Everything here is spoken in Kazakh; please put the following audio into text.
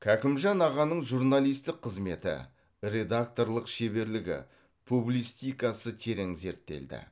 кәкімжан ағаның журналистік қызметі редакторлық шеберлігі публистикасы терең зерттелді